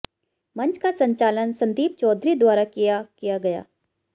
मंच का संचालन संदीप चौधरी द्वारा किया किया गया